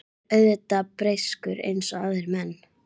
Ég er auðvitað breyskur eins og aðrir menn.